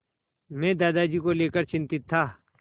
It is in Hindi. मैं दादाजी को लेकर चिंतित था